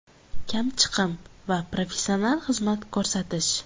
Kamchiqim va professional xizmat ko‘rsatish!”.